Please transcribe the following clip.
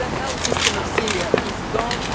The health system of Syria is